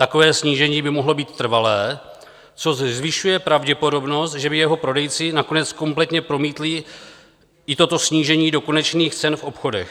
Takové snížení by mohlo být trvalé, což zvyšuje pravděpodobnost, že by jeho prodejci nakonec kompletně promítli i toto snížení do konečných cen v obchodech.